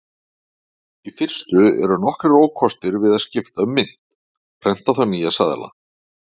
Í fyrstu eru nokkrir ókostir við að skipta um mynt: Prenta þarf nýja seðla.